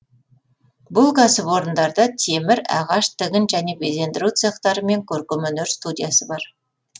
бұл кәсіпорындарда темір ағаш тігін және безендіру цехтары мен көркемөнер студиясы бар